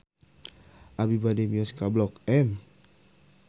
Abi bade mios ka Blok M